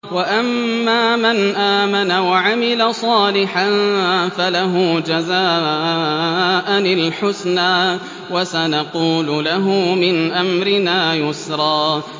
وَأَمَّا مَنْ آمَنَ وَعَمِلَ صَالِحًا فَلَهُ جَزَاءً الْحُسْنَىٰ ۖ وَسَنَقُولُ لَهُ مِنْ أَمْرِنَا يُسْرًا